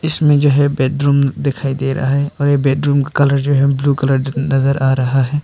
इसमें जो है बेडरूम दिखाई दे रहा है और ये बेडरूम का कलर जो है ब्लू कलर नजर आ रहा है।